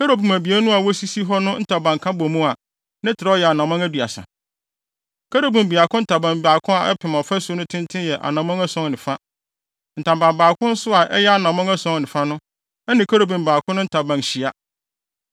Kerubim abien no a wosisi hɔ no ntaban ka bɔ mu a, ne trɛw yɛ anammɔn aduasa. Kerubim baako ntaban baako a ɛpem ɔfasu no tenten yɛ anammɔn ason ne fa. Ntaban baako no nso a ɛyɛ anammɔn ason ne fa no, ɛne kerubim baako no ntaban hyia.